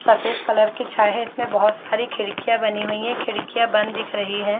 सफ़ेद कलर की इसमें बहुत सारी खिड़किया बनी हुई है इसमें खिड़किया बंद दिख रही हैं ।